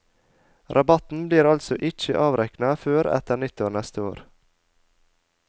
Rabatten blir altså ikkje avrekna før etter nyttår neste år.